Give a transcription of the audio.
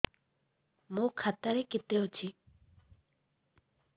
ମୋ ଖାତା ରେ କେତେ ଅଛି